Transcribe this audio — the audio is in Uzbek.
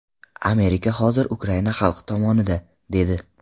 Amerika hozir Ukraina xalqi tomonida”, dedi.